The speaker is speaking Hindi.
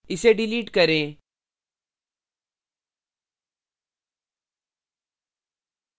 इसे डिलीट करें